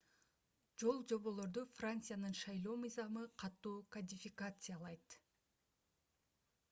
жолжоболорду франциянын шайлоо мыйзамы катуу кодификациялайт